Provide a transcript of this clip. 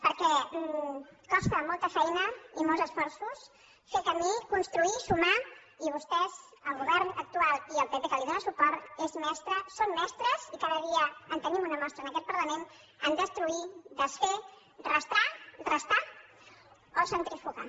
perquè costa molta feina i molts esforços fer camí construir sumar i vostès el govern actual i el pp que li dóna suport són mestres i cada dia en tenim una mostra en aquest parlament a destruir desfer restar o centrifugar